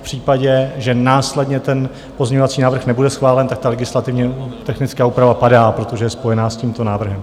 V případě, že následně ten pozměňovací návrh nebude schválen, tak ta legislativně technická úprava padá, protože je spojená s tímto návrhem.